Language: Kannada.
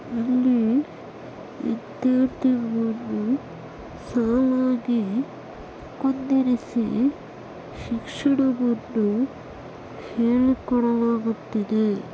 ಇಲ್ಲಿ ವಿದ್ಯಾರ್ಥಿ ಅನ್ನು ಸಾಲಾಗಿ ಕುಂದಿರಿಸಿ ಶಿಕ್ಷಣವನ್ನು ಹೇಳಿ ಕೊಡಲಾಗುತ್ತಿದೆ